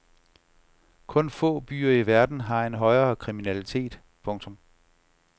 Kun få byer i verden har en højere kriminalitet. punktum